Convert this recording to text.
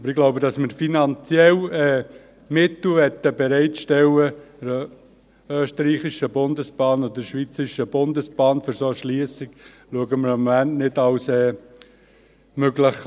Ich glaube aber: Dass wir den ÖBB und SBB finanzielle Mittel für eine solche Erschliessung bereitstellen, betrachten wir im Moment nicht als möglich.